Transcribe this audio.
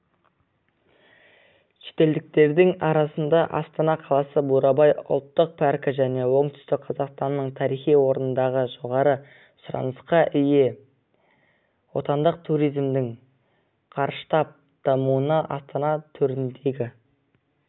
шетелдіктердің арасында астана қаласы бурабай ұлттық паркі және оңтүстік қазақстанның тарихи орындары жоғары сұранысқа ие отандық турзимдің қарыштап дамуына астана төріндегі